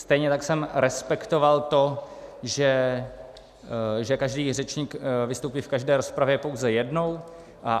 Stejně tak jsem respektoval to, že každý řečník vystoupí v každé rozpravě pouze jednou.